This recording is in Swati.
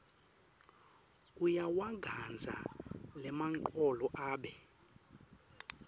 uyawagandza lamagcolo abe